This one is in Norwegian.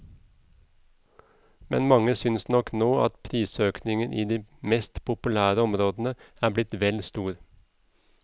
Men mange synes nok nå at prisøkningen i de mest populære områdene er blitt vel stor.